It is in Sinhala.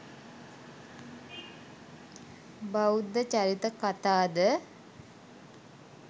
බෞද්ධ චරිත කතා ද